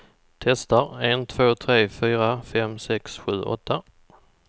Testar en två tre fyra fem sex sju åtta.